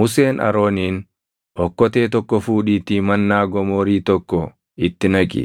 Museen Arooniin, “Okkotee tokko fuudhiitii mannaa gomoorii tokko itti naqi;